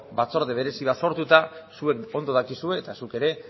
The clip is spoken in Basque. batzorde berezi bat sortuta zuek ondo dakizue eta zuk ere